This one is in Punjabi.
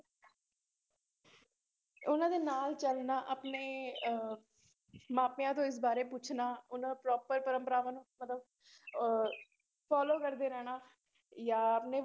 ਉਹਨਾਂ ਦੇ ਨਾਲ ਚੱਲਣਾ ਆਪਣੇ ਅਹ ਮਾਪਿਆਂ ਤੋਂ ਇਸ ਬਾਰੇ ਪੁੱਛਣਾ, ਉਹਨਾਂ proper ਪਰੰਪਰਾਵਾਂ ਨੂੰ ਮਤਲਬ ਅਹ follow ਕਰਦੇ ਰਹਿਣਾ ਜਾਂ ਆਪਣੇ